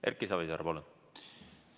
Erki Savisaar, palun!